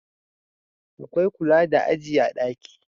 Akwai kula da aji a daki